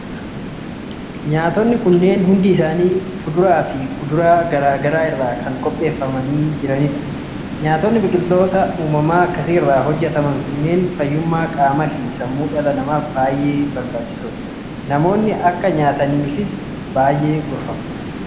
Nyaatonni kunneen hundi isaanii fuduraa fi kudaraalee garaa garaa irraa kan qopheeffamanii jiranidha. Nyaatonni biqiltoota uumamaa akkasii irraa hojjetaman kunneen fayyummaa qaamaa fi sammuu dhala namaaf baay'ee barbaachisoodha. Namoonni akka nyaataniifis ni gorfamu.